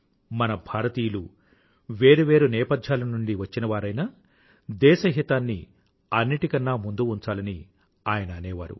మన భారతీయులు వేరు వేరు నేపధ్యాల నుండి వచ్చినవారైనా దేశహితాన్ని అన్నింటికన్న ముందు ఉంచాలని ఆయన అనేవారు